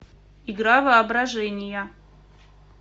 игра воображения